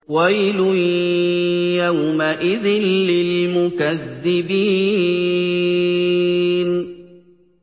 وَيْلٌ يَوْمَئِذٍ لِّلْمُكَذِّبِينَ